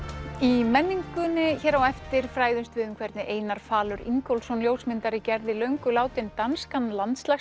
í menningunni hér á eftir fræðumst við um hvernig Einar falur Ingólfsson ljósmyndari gerði löngu látinn danskan